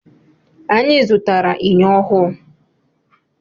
Anyị zụtara enyo ọhụụ.